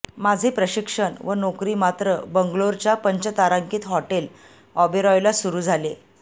माझे प्रशिक्षण व नोकरी मात्र बंगलोरच्या पंचतारांकित हॉटेल ओबेरॉयला सुरू झाले